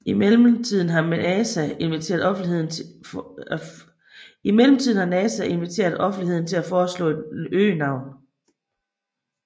I mellemtiden har NASA inviteret offentligheden til at foreslå et øgenavn